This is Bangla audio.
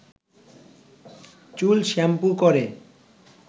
চুল শ্যাম্পু করে